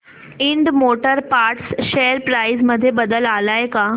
Ind Motor Parts share price मध्ये बदल आलाय का